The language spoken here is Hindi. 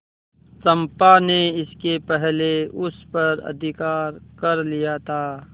चंपा ने इसके पहले उस पर अधिकार कर लिया था